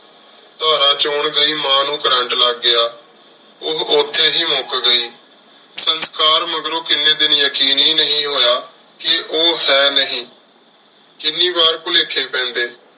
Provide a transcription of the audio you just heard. ਧਾਰ੍ਰਾਂ ਚੋਣ ਗਈ ਮਾਂ ਨੂ ਛੁਰ੍ਰੇੰਟ ਲਾਗ ਗਯਾ ਓਹ ਓਥੀ ਹੇ ਮੁੱਕ ਗਈ ਸੰਸਕਾਰ ਮਗਰੋਂ ਕੀਨੀ ਦਿਨ ਯਕੀਨ ਹੇ ਨਹੀ ਹੋਯਾ ਕ ਓਹੋ ਹੈ ਹੇ ਨੀ ਕਿੰਨੀ ਵਾਰ ਭੁਲੇਖੇ ਪੈਂਦੇ